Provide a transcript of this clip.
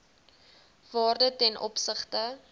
waarde ten opsigte